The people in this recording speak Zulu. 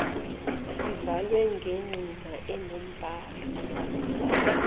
zivalwe ngengcina enombhalo